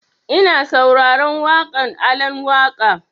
Ina sauraren waƙan Alan Waƙa